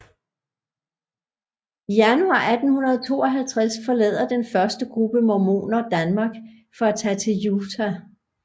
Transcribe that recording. I Januar 1852 forlader den første gruppe mormoner Danmark for at tage til Utah